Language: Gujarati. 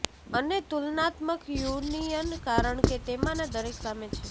અને તુલનાત્મક યુનિયન કારણ કે તેમાંના દરેક સામે છે